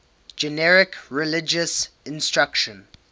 generic religious instruction